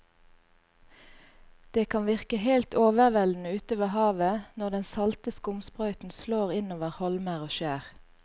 Det kan virke helt overveldende ute ved havet når den salte skumsprøyten slår innover holmer og skjær.